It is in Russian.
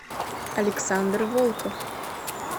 александр волков